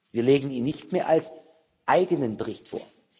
Wir legen ihn nicht mehr als eigenen Bericht vor.